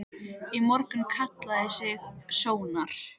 Í morgun kallaði hann sig Sónar.